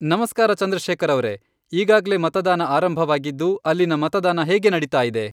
ನಮಸ್ಕಾರ ಚಂದ್ರಶೇಖರ ಅವರೇ, ಈಗಾಗಲೇ ಮತದಾನ ಆರಂಭವಾಗಿದ್ದು, ಅಲ್ಲಿನ ಮತದಾನ ಹೇಗೆ ನಡಿತಾ ಇದೇ ?